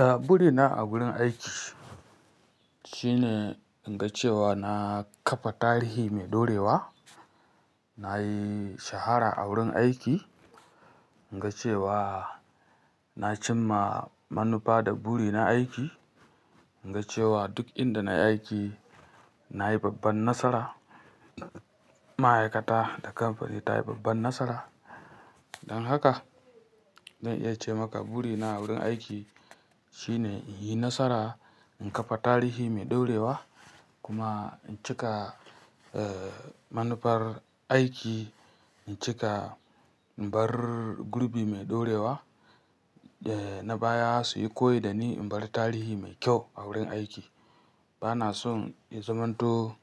A, buri na a wurin aiki shine in ga cewa na kafa tarihi mai dorewa. Na yi shahara a wurin aiki, in ga cewa na cimma manufa da buri na aiki, in ga cewa duk inda na yi aiki na yi babban nasara. Ma'aikata da kamfani ta yi babban nasara. Don haka zan iya ce maka buri na wurin aiki shine in yi nasara, in kafa tarihi mai dorewa kuma in cika, eh, manufar aiki, in cika, in bar gurbi mai dorewa da na baya su yi koyi da ni, in bar tarihi mai kyau a wurin aiki. Ba na son in zamanto